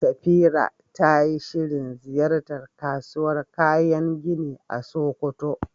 Safira tayi shirin ziyartar kasuwar kayan gini a Sokoto.